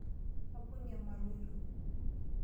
Aibung'e malotu.